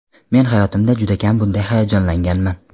Men hayotimda juda kam bunday hayajonlanganman.